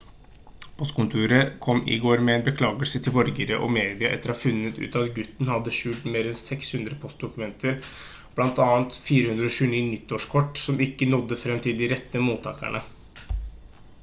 postkontoret kom i går med en beklagelse til borgere og media etter å ha funnet ut at gutten hadde skjult mer enn 600 postdokumenter blant annet 429 nyttårskort som ikke nådde frem til de rette mottakerne